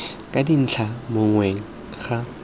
ka dintlha mo mokgweng ga